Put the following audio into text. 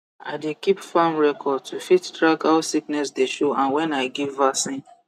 i dey keep farm record to fit track how sickness dey show and when i give vaccine